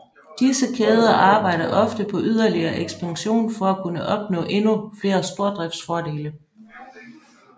Disse kæder arbejder ofte på yderligere ekspansion for at kunne opnå endnu flere stordriftsfordele